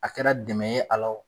A kɛra dɛmɛ ye a la o